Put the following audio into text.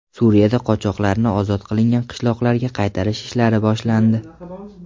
Suriyada qochoqlarni ozod qilingan qishloqlarga qaytarish ishlari boshlandi.